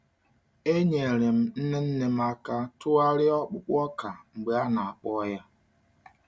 Enyere m nne nne m aka tụgharịa ọkpụkpụ ọka mgbe a na-akpọọ ya.